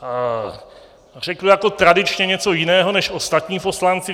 Řeknu jako tradičně něco jiného než ostatní poslanci.